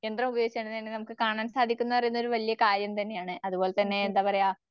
യന്ത്രമുപയോഗിച്ച്തന്നെ അതിനെ കാണാൻ സാധിക്കുന്ന പറയുന്നൊരു വല്യ കാര്യം തന്നെയാണ്. അതുപോലെതന്നെ എന്താപറയ